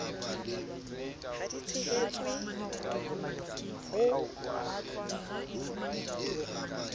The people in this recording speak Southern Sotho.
ha di tshehe tswe ho